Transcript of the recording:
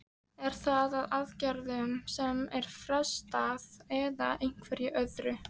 Er það í aðgerðum sem er frestað eða einhverju öðru?